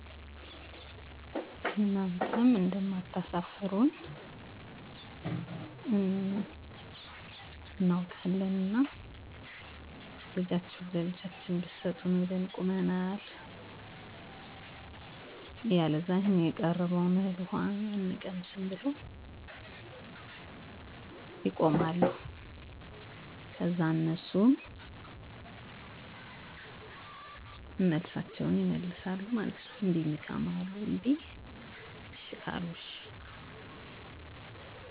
አወ አለ በመጀመሪያ ሽማግሌዎች ተመርጠው ወደ ሴቷ ሙሽራቤት ሄደው ይጋባሉ ከዛ ደግሞ ቡና ይፈላል ጠላ ካለ ይቀርባል በመሀከላቸው ወሬ በወሬ እያረጉ የአቶ እገሌን ታውቀዋለህ መልካም እንደው ልጃቸው ለአቅመ አዳም ስለደረሰ እንዳው ልጃችህን ላልጄ ብለውዋን እና እናንተም እንደማታሰፍሩን እርግጠኞች ነን ብለው ያወራሉ ከዛም አባትየው አይ እስኪ ከባለቤቴ ጋር እና ከቤተሰቡ ጋር መወያያት የስፈልጋል ብለው ያስረዱዎቸዋል ከዛን ቀነ ቀጠሮ ይዘወ ይለያያሉ ከዛን ሰውየው ከተወያየ በሁላ በቀነ ቀጠሮው ቀን ተሰናድተው ይጠብቃቸዋል ሽማግሌዎቸ በሳአታቸው ሄደው የጠይቃሉ ከዛን አሺ ከተባሉ የሰርጉን ቀን ተነጋግረውበታል